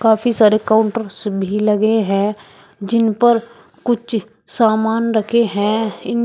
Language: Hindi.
काफी सारे काउंटर्स भी लगे हैं जिन पर कुछ सामान रखे है इन--